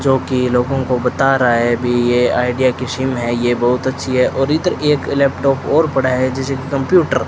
जो कि लोगों को बता रहा है अभी यह आइडिया की सिम है यह बहुत अच्छी है और इधर एक लैपटॉप और पड़ा है जैसे कंप्यूटर --